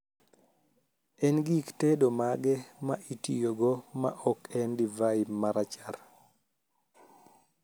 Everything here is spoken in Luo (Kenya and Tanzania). en gik tedo mage ma itiyogo ma ok en divai ma rachar